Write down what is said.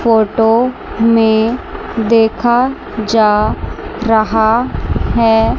photo में देखा जा रहा है--